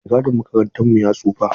Maigadin makarantar mu ya tsufa.